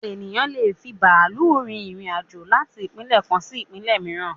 Ènìyàn lé è fi bàálù rin irin-àjò láti ìpínlẹ̀ kan sí ìpínlẹ̀ mìíràn